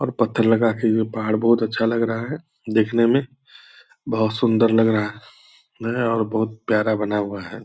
और पत्थर लगा के ये जो पहाड़ बहुत अच्छा लग रहा है देखने मे बहुत सुंदर लग रहा है और बहुत प्यारा बना हुआ है।